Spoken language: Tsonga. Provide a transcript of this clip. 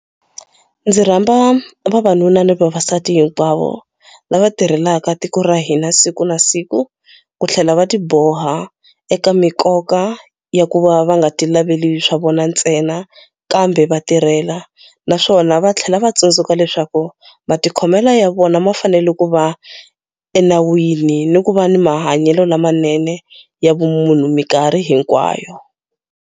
Ndzi rhamba vanuna ni vavasati hinkwavo lava tirhelaka tiko ra hina siku na siku ku tlhela va tiboha eka mikoka ya ku va va nga tilaveli swa vona ntsena kambe va tirhela, naswona va tlhela va tsundzuka leswaku matikhomelo ya vona ma fanele ku va enawini ni ku va ni mahanyelo lamanene ya vumunhu mikarhi hinkwayo.